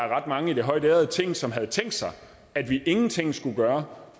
ret mange i det højtærede ting som havde tænkt sig at vi ingenting skulle gøre